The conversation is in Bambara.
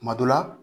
Kuma dɔ la